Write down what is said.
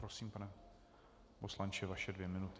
Prosím, pane poslanče, vaše dvě minuty.